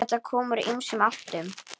Þetta kom úr ýmsum áttum.